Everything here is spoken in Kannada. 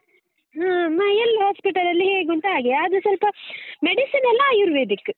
ಹ್ಮ್ ಎಲ್ಲಾ hospital ಅಲ್ಲಿ ಹೇಗೆ ಉಂಟೋ ಹಾಗೆ, ಆದ್ರೆ ಸ್ವಲ್ಪ medicine ಎಲ್ಲಾ ಆಯುರ್ವೇದಿಕ್.